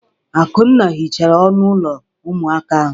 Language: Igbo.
Akunna hichara ọnụ ụlọ ụmụaka ahụ.